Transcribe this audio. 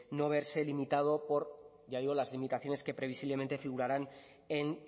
no verse limitado por ya digo las limitaciones que previsiblemente figurarán en